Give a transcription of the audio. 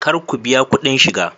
Kar ku biya kudin shiga!